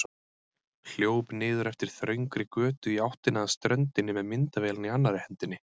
Hljóp niður eftir þröngri götu í áttina að ströndinni með myndavélina í annarri hendinni.